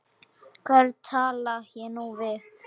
Hvern tala ég nú við?